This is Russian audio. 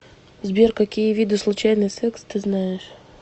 сбер какие виды случайный секс ты знаешь